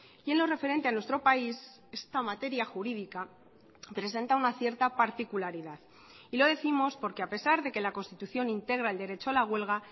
y en lo referente a nuestro país esta materia jurídica presenta una cierta particularidad y lo décimos porque a pesar de que la constitución integra el derecho a la huelga